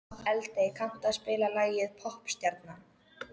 Eldey, kanntu að spila lagið „Poppstjarnan“?